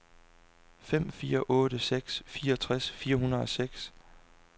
fem fire otte seks fireogtres fire hundrede og seks